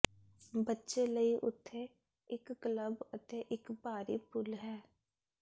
ਬੱਚੇ ਲਈ ਉਥੇ ਇੱਕ ਕਲੱਬ ਅਤੇ ਇੱਕ ਬਾਹਰੀ ਪੂਲ ਹੈ